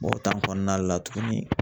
Mɛ o kɔnɔna la tuguni